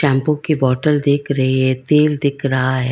Shampoo की bottle दिख रही है तेल दिख रहा है।